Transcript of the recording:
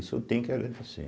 Isso eu tenho que agradecer.